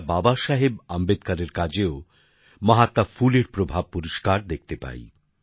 আমরা বাবা সাহেব আম্বেদকরের কাজেও মহাত্মা ফুলের প্রভাব পরিষ্কার দেখতে পাই